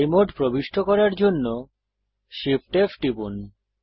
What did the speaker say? fly mode প্রবিষ্ট করার জন্য Shift F টিপুন